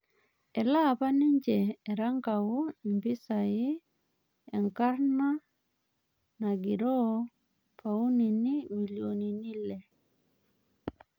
Etalaa apa ninje erankau mpisai enkarna nagirooo paunini milionini ile.